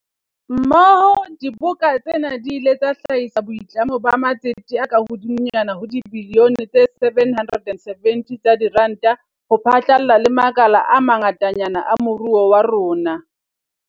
Mmoho, diboka tsena di ile tsa hlahisa boitlamo ba matsete a kahodimonyana ho dibilione tse 770 tsa diranta ho phatlalla le makala a ma ngatanyana a moruo wa rona.